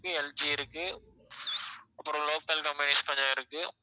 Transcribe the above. LG இருக்கு அப்புறம் local companies கொஞ்சம் இருக்கு